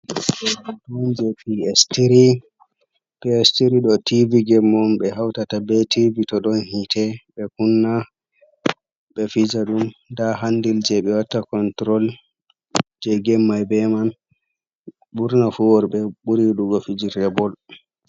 Hunɗe on je PS tiri, PS tiri do tivi gém on bé hautata bé tivi todon hite be kunna be fija dum da handil je ɓe watta konturol je gém mai bé man burna fu worbe buri yidugo fijirde bol.